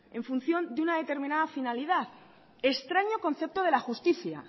en función de una determinada finalidad extraño concepto de la justicia